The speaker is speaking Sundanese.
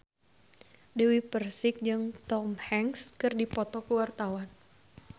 Dewi Persik jeung Tom Hanks keur dipoto ku wartawan